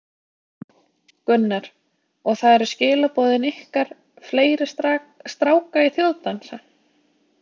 Gunnar: Og það eru skilaboðin ykkar, fleiri stráka í þjóðdansa?